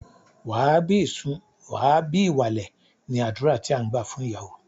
Wà á bí ìsun, wà á bí ìwàlè! ni àdúrà tí à ń gbà fún ìyàwó.